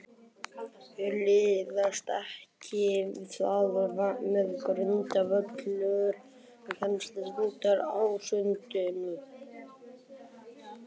Liðast ekki þar með grundvöllur kennslunnar í sundur?